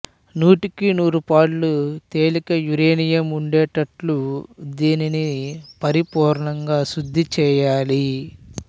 నూటికి నూరు పాళ్లు తేలిక యురేనియం ఉండేటట్లు దీనిని పరిపూర్ణంగా శుద్ధి చెయ్యాలి